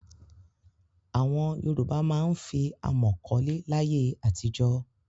Àwọn Yorùbá máa ń fi àmọ̀ kọ́lé láyé àtijọ́.